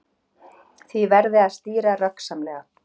Því verði að stýra röggsamlega